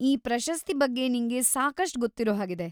ಈ ಪ್ರಶಸ್ತಿ ಬಗ್ಗೆ ನಿಂಗೆ ಸಾಕಷ್ಟ್‌ ಗೊತ್ತಿರೋ ಹಾಗಿದೆ.